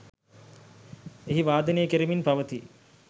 එහි වාදනය කෙරෙමින් පවතී.